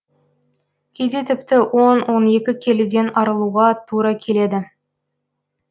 кейде тіпті он он екі келіден арылуға тура келеді